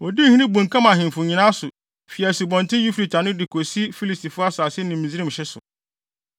Odii hene bunkam faa ahemfo nyinaa so, fi Asubɔnten Eufrate ano de kosi Filistifo asase ne Misraim hye so.